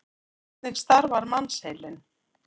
Hvernig starfar mannsheilinn?